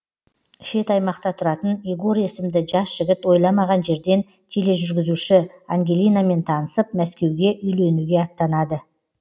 шет аймақта тұратын егор есімді жас жігіт ойламаған жерден тележүргізуші ангелинамен танысып мәскеуге үйленуге аттанады